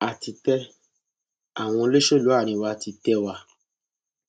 a ti tẹ àwọn olóṣèlú àárín wa ti tẹ wá